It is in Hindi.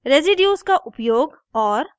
रेज़िड्यूस residues का उपयोग और